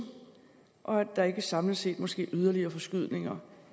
og at der ikke samlet set må ske yderligere forskydninger